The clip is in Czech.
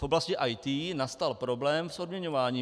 V oblasti IT nastal problém s odměňováním.